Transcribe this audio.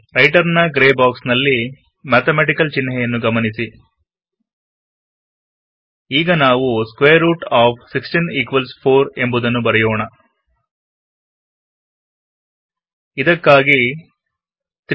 writer ನ grey ಬಾಕ್ಸ್ನಲ್ಲಿ mathematical ಚಿಹ್ನೆಯನ್ನು ಗಮನಿಸಿ ಈಗ ನಾವು ಸ್ಕ್ವೇರ್ ರೂಟ್ ಆಫ್ 16 4 ಎಂಬುದನ್ನು ಬರೆಯೋಣ ಇದಕ್ಕಾಗಿ 3